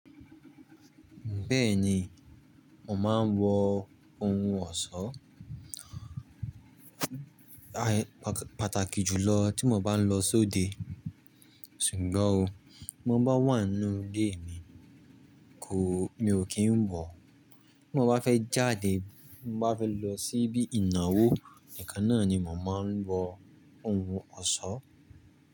Bẹ́ẹ̀ni, mò máa ń wọ ohun ọ̀ṣọ́, pàtàkì jùlọ tí mo bá ń lọ sóde. Ṣùgbọ́n o, bí mo bá wà nínú ilé mi, kò, mi ò kí ń wọ̀ọ́ Bí mo bá fẹ́ jáde, bí mo bá fẹ́ lọ sí ibi ìnáwó, nìkan náà ni mò máa ń wọ ohun ọ̀ṣọ́.